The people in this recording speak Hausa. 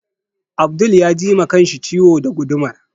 Abdul ya ji ma kanshi ciwo da gudumar